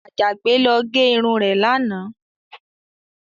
Àjàgbé lọ gẹ irun rẹ̀ lánàá.